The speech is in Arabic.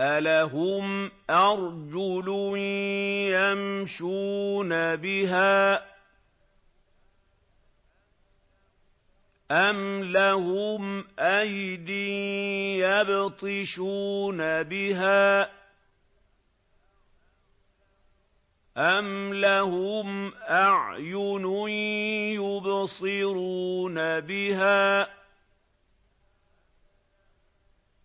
أَلَهُمْ أَرْجُلٌ يَمْشُونَ بِهَا ۖ أَمْ لَهُمْ أَيْدٍ يَبْطِشُونَ بِهَا ۖ أَمْ لَهُمْ أَعْيُنٌ يُبْصِرُونَ بِهَا ۖ